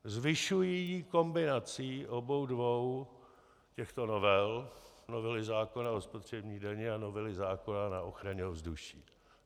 Zvyšují kombinací obou dvou těchto novel, novely zákona o spotřební dani a novely zákona na ochranu ovzduší.